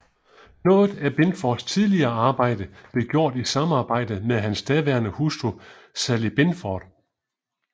Noget af Binfords tidligere arbejde blev gjort i samarbejde med hans daværende hustru Sally Binford